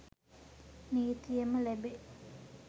නීතියෙන්ම ලැබේ.